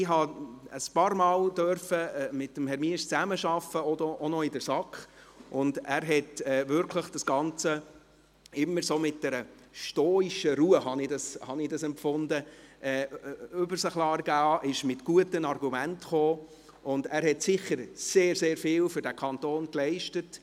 Ich habe einige Male mit Herrn Miesch zusammenarbeiten können, auch noch in der SAK, und er hat das Ganze wirklich immer mit einer stoischen Ruhe – so habe ich es empfunden – über sich ergehen lassen, ist mit guten Argumenten gekommen, und er hat sicher sehr, sehr viel für diesen Kanton geleistet.